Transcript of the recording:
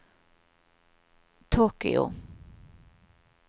Tokyo